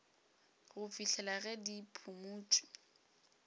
go fihlela ge di phumotšwe